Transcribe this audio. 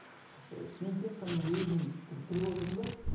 мен тек қана өзім тұрып отырмын да